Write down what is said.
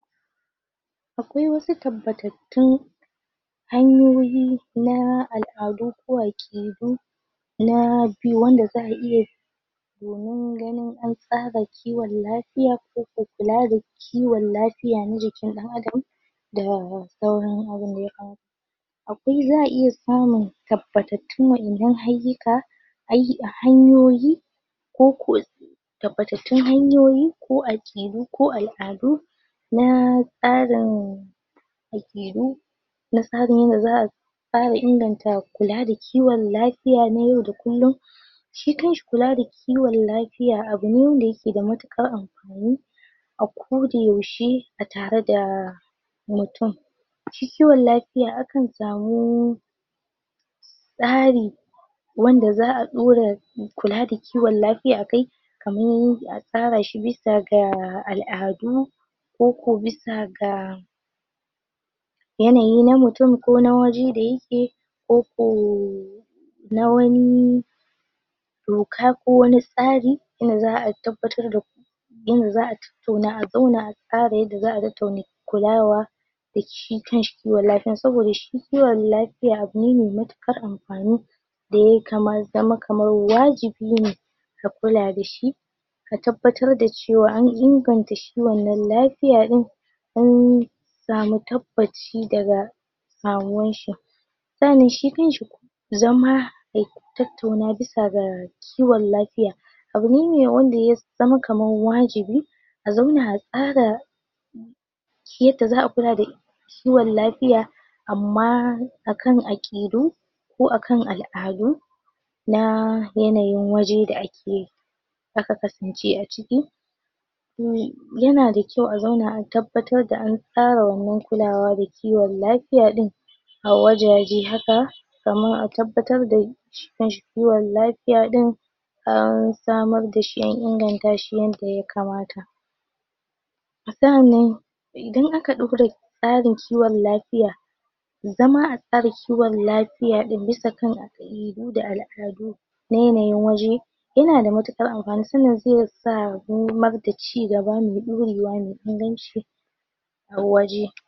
akwai wasu tabbatattun hanyoyi na al'adu ko aƙidu na byu wanda za'a iye domin ganin an tsaga kiwon lafiya koko kualada kiwon lafiya na jikin ɗan'Adam da sauran akwai za'a iya samun tabbatattun wayannan ayyuka ay hanyoyi koko tabbatattun hanyoyi ko akidu ko al'adu naa tsarin akidu na tsaga ina za'a fara inganta kula da kiwon lafiya na yau da kullum shi kanshi kulada kiwon lafiya abune wanda yakeda matukar amfani a koda yaushe atarada mutum shi kiwon lafiya akan samu tsari wanda za'a dora kulada kiwon lafiya akai kaman a tsarashi bisa ga al'adu koko bisa ga yanayi na mutun kona wajen da yake koko na wanii doka ko wani tsari inda za'a tabbatarda inda za'a tattauna a zauna a tsara yanda za'a tattauna kulawa dashi kanshi kiwon lafiya saboda shi kiwon lafiya abune mai matukar amfani daya kamar zama kamar wajibi ne da kula dashi ka tabbatar da cewa an inganta shi lafiya din inn samu tabbaci daga kamuwanshi sa'anan shi kanshi zama tattauna bisa ga kiwon lafiya abune me wanda yazama kaman wajibi a zauna atsara kyanda za'a kulada kiwon lafiya amma akan akidu ko akan al'adu na yanayin waje da akeyi aka kasance aciki yana da kyau a zauna a tabbatar da an tsara wannan kiwon lafiya din awajaje haka kaman atabbatar da shi kanshi kiwon lafiya din an samarda shi inganta shi yanda ya kamata sa'anan idan aka rabu da tsarin kiwon lafiya zama a tsarin kiwon lafiya ɗin bisa kan akidu da al'adu na yanayin waje inada matukar amfani sa'anan zesa da cigaba mai dorewa mai inganci a waje.